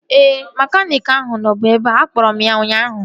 Ee, mekaniiki ahụ nọbu ebea. Akpọrọ m ya ụnyaahụ